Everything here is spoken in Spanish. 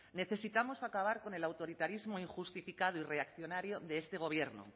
necesitamos acabar con el autoritarismo injustificado y reaccionario de este gobierno